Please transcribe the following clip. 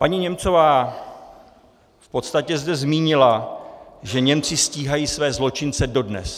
Paní Němcová v podstatě zde zmínila, že Němci stíhají své zločince dodnes.